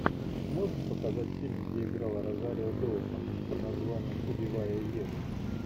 можешь показать фильм где играла розарио доусон под названием убивая еву